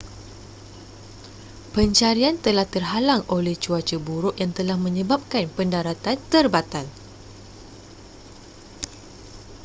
pencarian telah terhalang oleh cuaca buruk yang telah menyebabkan pendaratan terbatal